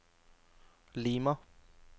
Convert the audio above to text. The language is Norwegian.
Lima